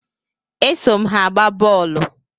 E so m ha agba boolu